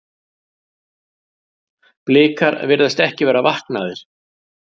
Blikar virðast ekki vera vaknaðir.